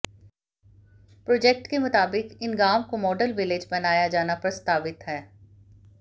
project के मुताबिक इन गांव को मॉडल विलेज बनाया जाना प्रस्तावित है